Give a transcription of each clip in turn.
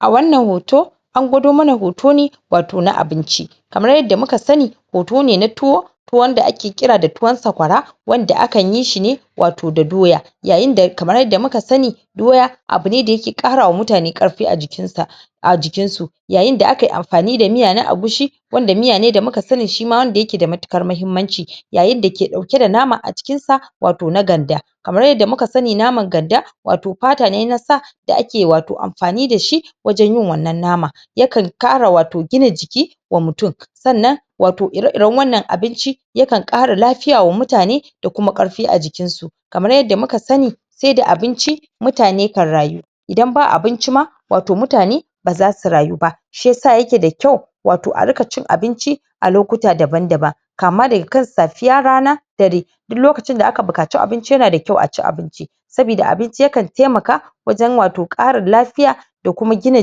a wannan hoto an gwado mana hoto ne wato na abinci kamar yadda muka sani hoto ne na tuwo tuwo wanda ake kira da tuwon saƙwara wanda akanyi shi wato da doya yayin da kamar yadda muka sani doya abune da yake kara wa mutane ƙarfi a jikin sa a jikin su yayin da akayi amfani na miya na egusi wanda miya ne da muka sani shima wanda yake da matukar mahimmanci yayin dake dauke da nama a jikin sa wato na ganda kamar yadda muka sani naman ganda wato pata ne na sa da ake wato amfani da shi wajen yin wannan nama yakan kara wato gina jiki wa mutum sannan wato ire iren wannan abinci yakan kara lafiya wa mutane da kuma ƙarfi a jikin su kamar yadda muka sani saida abinci mutane kan rayu idan ba abinci ma wato mutane bazasu rayu ba shiyasa yake da kyau wato a ringa cin abinci a lokuta daban daban kama daga kan safiya rana dare duk lokacin da aka bukaci abinci yana da kyau a ci abinci sabida abinci yakan taimaka wajen wato ƙarin lafiya da kuma gina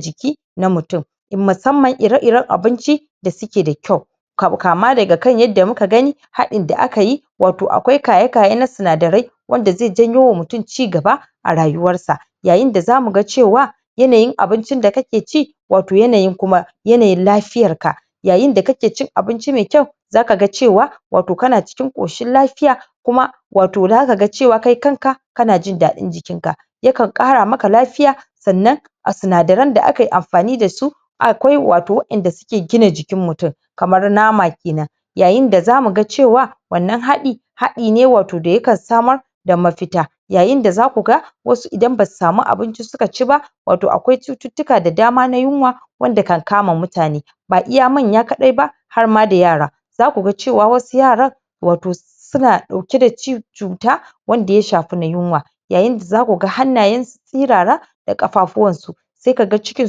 jiki na mutum musamman ire iren abinci da suke da kyau kama daga kan yadda muka gani hadin da akayi wato akwai kayakaye na sinadarai wanda zai janyo wa mutum cigaba a rayuwar sa yayin da zamu ga cewa yanayin abincin da kake ci wato yanayin kuma yanayin lafiyar ka yayin da kake cin abinci mai kyau zaka ga cewa wato kana cikin koshin lafiya kuma wato zaka ga kai kanka kana jindaɗin jikin ka yakan kara maka lafiya sannan a sinadaran da akayi amfani dasu akwai wato wa'en da suke gina jikin mutum kamar nama kenan yayin da zamu ga cewa wannan haɗi haɗi ne wato da yakan samar da mafita yayin da zaku ga wasu idan basu samu abinci suka ci ba wato akwai cututtuka da dama na yunwa wanda kan kama mutane ba iya manya kadai ba har ma da yara zaku ga cewa wasu yaran wato suna dauki da cuta wanda ya shafi na yunwa yayin da zaku ga hannayen su sirara da kafafuwan su sai kaga cikin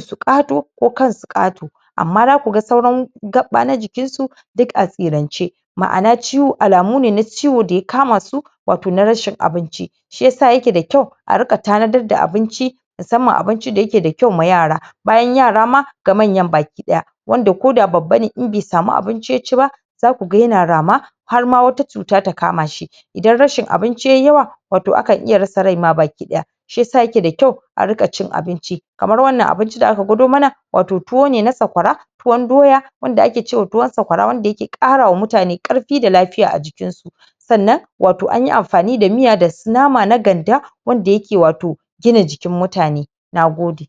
su kato ko kansu kato amma zaku ga sauran na jikin su duk a sirance mana'a alamu ne na ciwo da ya kama su wato na rashin abinci shiyasa yake da kyau a ringa tanadar da abinci musamman abinci da yake da kyau ma yara bayan yara ma ga manyan baki daya wanda ko da babba ne in bai samu abinci ya ci ba zaku ga yana rama har ma wata cuta ta kama shi dan rashin abinci yayi yawa wato akan iya rasa rai ma baki daya shiyasa yake da kyau a ringa cin abinci kamar wannan abinci da aka gwado mana wato tuwo ne na saƙwara tuwon doya wanda ake cewa tuwon saƙwara wanda yake kara wa mutane ƙarfi da lafiya a jikin su sannan anyi amfani da miya da su nama na ganda wanda yake wato gina jikin mutane nagode